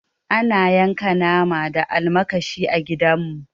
Ana yanka nama da almakashi a gida mu